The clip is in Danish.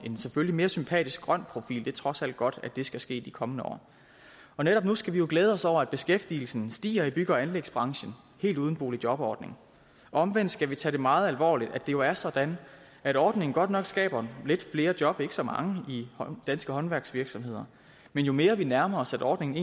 mere sympatisk grøn profil det er trods alt godt at det skal ske i de kommende år netop nu skal vi glæde os over at beskæftigelsen stiger i bygge og anlægsbranchen helt uden boligjobordning omvendt skal vi tage det meget alvorligt at det jo er sådan at ordningen godt nok skaber lidt flere job men ikke så mange i danske håndværksvirksomheder men jo mere vi nærmer os at ordningen